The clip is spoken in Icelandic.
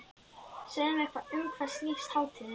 Segðu mér um hvað snýst hátíðin?